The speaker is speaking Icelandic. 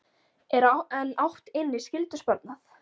En átt inni skyldusparnað?